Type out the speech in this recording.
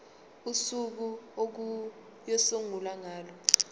usuku okuyosungulwa ngalo